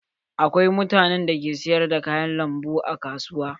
Akwai mutanen da ke sayar da kayan lambu a kasuwa.